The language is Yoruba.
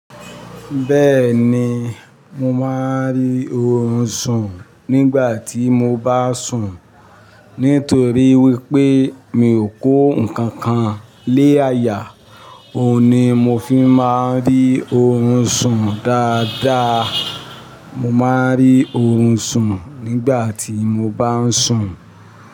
Bẹ́ẹ̀ni, mo máa ń rí orun sùn nígbà tí mo bá sùn. Nítorí wípé mi ò kó ǹkankan lé àyà, òun ni mo fi má ń rí orun sùn dáadáa. Mo má ń rí ohun sùn nígbà tí mo bá ń sùn.